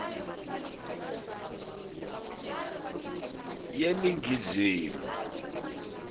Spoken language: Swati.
yeningizimu